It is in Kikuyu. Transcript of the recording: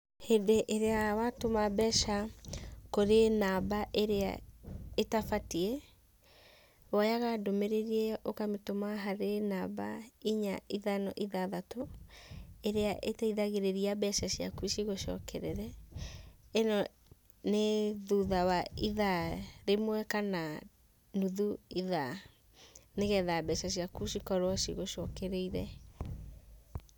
Hĩndĩ ĩrĩa watũma mbeca kũrĩ namba ĩrĩa ĩtabatiĩ woyaga ndũmĩrĩri ĩyo ũkamĩtũma kũrĩ namba ĩnya ithano ithathatũ ĩrĩa ĩteithagĩrĩria mbeca ciaku cigũcokerere, ĩno nĩ thutha wa ithaa rĩmwe kana nuthu ithaa nĩgetha mbeca ciaku cikorwo cigũcokereire.